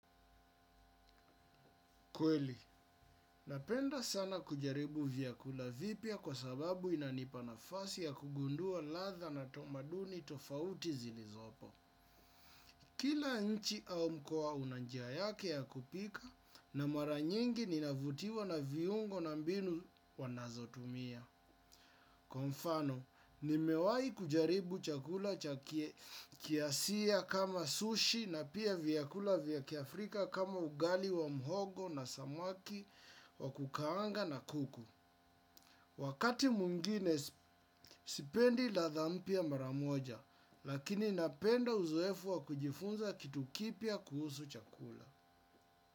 Kweli, napenda sana kujaribu vyakula vipya kwa sababu inanipa nafasi ya kugundua ladha na tamaduni tofauti zilizopo. Kila nchi au mkoa una njia yake ya kupika na mara nyingi ninavutiwa na viungo na mbinu wanazotumia. Kwa mfano, nimewahi kujaribu chakula cha kiasia kama sushi na pia vyakula vyakiafrika kama ugali wa mhogo na samaki wa kukaanga na kuku. Wakati mwingine sipendi ladha mpya mara moja, lakini napenda uzoefu wa kujifunza kitu kipya kuhusu chakula.